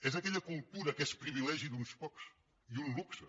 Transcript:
és aquella cultura que és privilegi d’uns pocs i un luxe